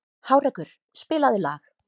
Hárekur, spilaðu lag.